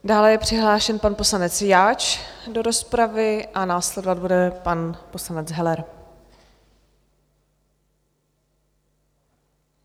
Dále je přihlášen pan poslanec Jáč do rozpravy a následovat bude pan poslanec Heller.